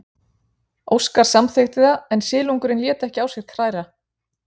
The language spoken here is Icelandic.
Óskar samþykkti það en silungurinn lét ekki á sér kræla.